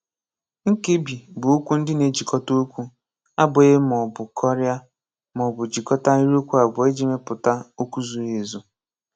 Nkebi bụ okwu ndị na-ejikọta okwu abụghị ma ọ bụ kọrịa, ma ọ bụ jikọta ahịrịokwu abụọ iji mepụta okwu zuru ezu.